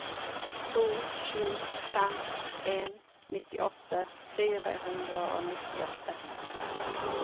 to sju fem en nittiåtte fire hundre og nittiåtte